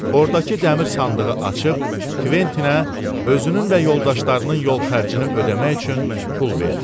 Ordakı dəmir sandığı açıb Kventinə özünün və yoldaşlarının yol xərcini ödəmək üçün pul verdi.